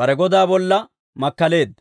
bare godaa bolla makkaleedda.